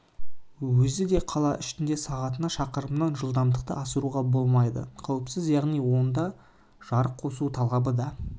өзі де қала ішінде сағатына шақырымнан жылдамдықты асыруға болмайды қауіпсіз яғни онда жарық қосу талабы да